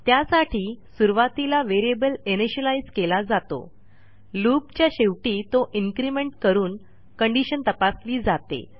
त्यासाठी सुरूवातीला variable initialize केला जातो loopच्या शेवटी तो इन्क्रिमेंट करून कंडिशन तपासली जाते